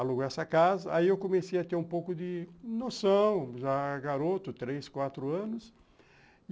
Aluguei essa casa, aí eu comecei a ter um pouco de noção, já garoto, três, quatro anos.